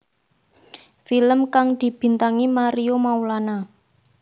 Film kang dibintangi Mario Maulana